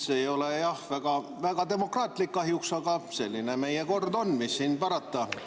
See ei ole jah väga demokraatlik kahjuks, aga selline meie kord on ja mis siis parata.